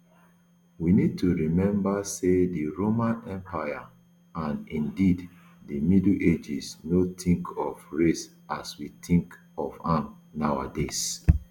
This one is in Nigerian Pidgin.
we need to remember say di roman empire and indeed di middle ages no tink of race as we tink of am nowadays